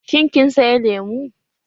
Shin kin saya lemu?